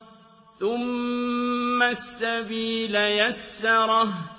ثُمَّ السَّبِيلَ يَسَّرَهُ